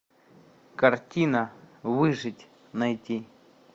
картина выжить найти